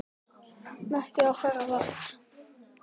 Ekki á þeirra vakt.